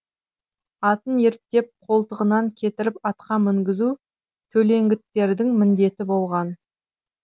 атын ерттеп қолтығынан кетеріп атқа мінгізу төлеңгіттердің міндеті болған